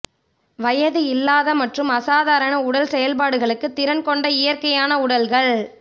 வயது இல்லாத மற்றும் அசாதாரண உடல் செயல்பாடுகளுக்கு திறன் கொண்ட இயற்கையான உடல்கள்